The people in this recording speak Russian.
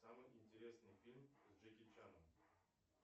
самый интересный фильм с джеки чаном